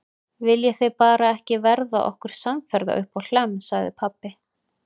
Viljið þið bara ekki verða okkur samferða uppá Hlemm, sagði pabbi.